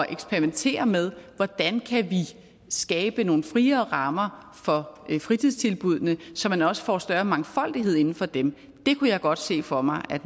eksperimentere med hvordan vi kan skabe nogle friere rammer for fritidstilbuddene så man også får større mangfoldighed inden for dem kunne jeg godt se for mig at